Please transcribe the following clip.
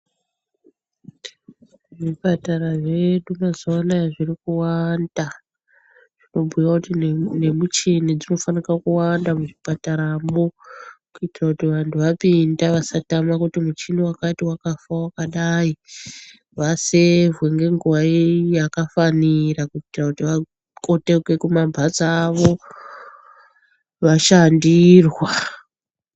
Zvipatara zvedu mazuano zvirikuwanda zvobhuya kuti nemuchini dzinofanire kuwanda muzvipataramwo, kuitira kuti vanhu vapinda vasatama muchini vachiti muchini wakati wakafa wakadai vasevhe nenguva kuite kuti vakotoke kumhatso dzawo vashandirwa.